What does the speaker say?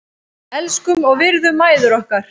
Elskum og virðum mæður okkar.